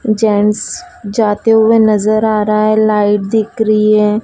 Gents जाते हुए नजर आ रहा है लाइट दिख रही है।